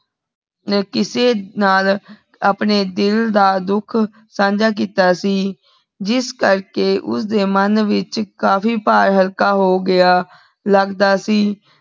ਕਿਸੇ ਨਾਲ ਅਪਨੇ ਦਿਲ ਦਾ ਦੁਖ ਸਾਂਝਾ ਕੀਤਾ ਸੀ ਜਿਸ ਕਰ ਕੇ ਓਸਦੇ ਮਨ ਵਿਚ ਕਾਫੀ ਭਾਰ ਹਲਕਾ ਹੋਗਯਾ ਲਗਦਾ ਸੀ